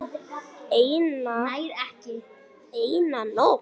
Eina nótt.